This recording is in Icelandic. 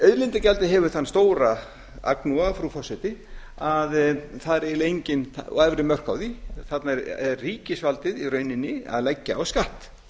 auðlindagjaldið hefur þann stóra agnúa frú forseti og efri mörk frá því þarna er ríkisvaldið í rauninni að leggja á skatt